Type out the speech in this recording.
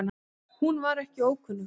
Hún var ekki ókunnug